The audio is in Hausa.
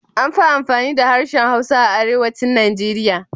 Amfi amfani da harshen Hausa a Arewacin Nigeria.